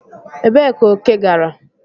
Ebee ka oke gara?